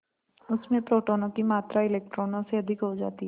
उसमें प्रोटोनों की मात्रा इलेक्ट्रॉनों से अधिक हो जाती है